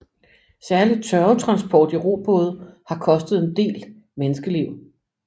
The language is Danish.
Særlig tørvetransport i robåde har kostet en del menneskeliv